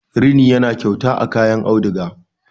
rini yana kyauta a kayan auduga